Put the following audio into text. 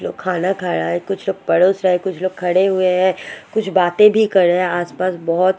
खाना खाया है कुछ लोग परोस है कुछ लोग खड़े हुए है कुछ बाते भी कर रे है आस-पास बहोत --